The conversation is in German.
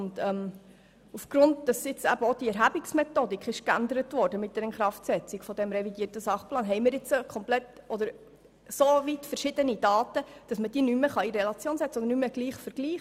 Aufgrund der geänderten Erhebungsmethodik mit der Inkraftsetzung des revidierten Sachplans haben wir nun so unterschiedliche Daten, dass man diese nicht mehr vergleichen kann.